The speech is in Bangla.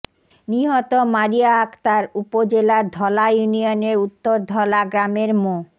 নিহত মারিয়া আক্তার উপজেলার ধলা ইউনিয়নের উত্তর ধলা গ্রামের মো